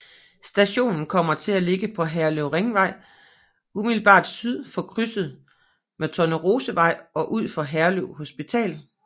Stationen kommer til at ligge på Herlev Ringvej umiddelbart syd for krydset med Tornerosevej og udfor Herlev Hospital